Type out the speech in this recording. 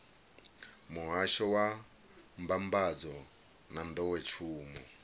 muhasho wa mbambadzo na nḓowetshumo